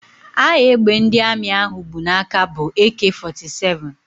Aha égbè ndị Armi ahụ bụ n'aka bụ AK 47